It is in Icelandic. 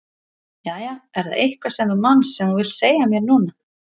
Jæja, er það eitthvað sem þú manst sem þú vilt segja mér núna?